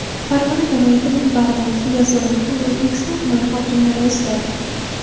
Farg‘ona viloyatining Bag‘dod, Yozyovon hamda O‘zbekiston tumani hokimlari o‘zgardi.